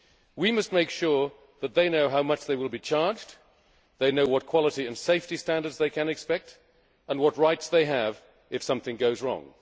fair. We must make sure that they know how much they will be charged, what quality and safety standards they can expect and what rights they have if something goes